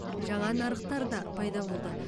жаңа нарықтар да пайда болды